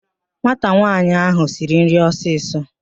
Nwata nwaanyị áhụ̀ siri nri ọsịsọ